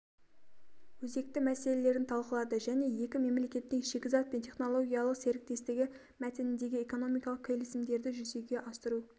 өзекті мәселелерін талқылады және екі мемлекеттің шикізат пен технологиялық серіктестігі мәтініндегі экономикалық келісімдерді жүзеге асыру